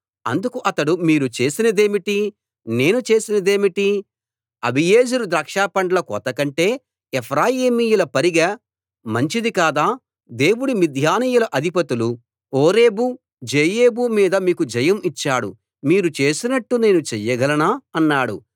అందుకు అతడు మీరు చేసినదేమిటీ నేను చేసినదేమిటి అబీయెజెరు ద్రాక్షపండ్ల కోతకంటే ఎఫ్రాయిమీయుల పరిగె మంచిది కాదా దేవుడు మిద్యానీయుల అధిపతులు ఓరేబు జెయేబు మీద మీకు జయం ఇచ్చాడు మీరు చేసినట్టు నేను చెయ్యగలనా అన్నాడు